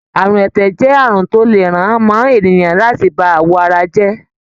Àrùn ẹ̀tẹ̀ jẹ́ àrùn tó le ràn mọ́ ènìyàn láti bá àwọ̀ ara jẹ́.